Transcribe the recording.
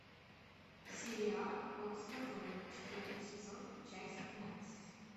сериал форс мажоры четвертый сезон часть двенадцать